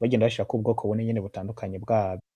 bagenda bashirako ubwoko bune butandukanye bwabwo.